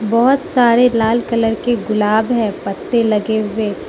बहोत सारे लाल कलर के गुलाब है पत्ते लगे हुए --